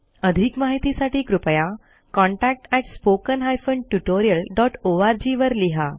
अधिक माहितीसाठी कृपया contactspoken tutorialorg वर लिहा